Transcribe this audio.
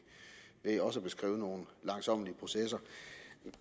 ved også at beskrive nogle langsommelige processer